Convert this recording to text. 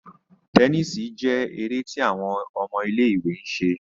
Tẹníìsì jé èrè tí àwọn ọmọ ilé-ìwé ń ṣe